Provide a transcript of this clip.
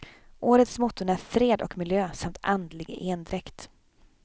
Årets motton är fred och miljö samt andlig endräkt.